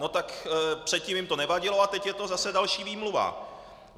No tak předtím jim to nevadilo a teď je to zase další výmluva.